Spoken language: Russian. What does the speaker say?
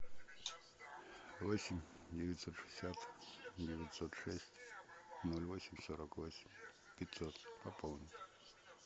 восемь девятьсот шестьдесят девятьсот шесть ноль восемь сорок восемь пятьсот пополнить